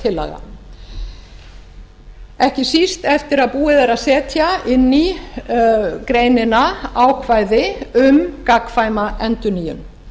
tillaga ekki síst eftir að búið er að setja inn í greinina ákvæði um gagnkvæma endurnýjun